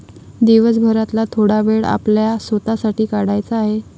दिवसभरातला थोडा वेळ आपल्या स्वतः साठी, काढायचा आहे.